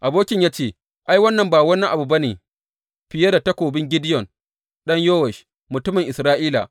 Abokinsa ya ce, Ai wannan ba wani abu ba ne fiye da takobin Gideyon ɗan Yowash, mutumin Isra’ila.